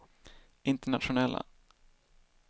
internationella